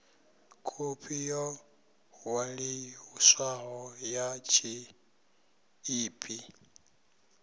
khophi yo ṅwaliswaho ya tshiḽipi